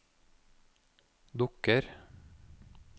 dukker